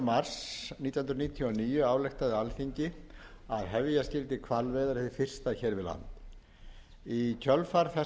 mars nítján hundruð níutíu og níu ályktaði alþingi að hefja skyldi hvalveiðar hið fyrsta hér við land í kjölfar þessarar